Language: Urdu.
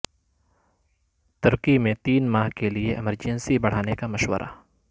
ترکی میں تین ماہ کے لئے ایمرجنسی بڑھانے کا مشورہ